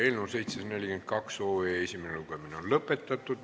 Eelnõu 742 esimene lugemine on lõpetatud.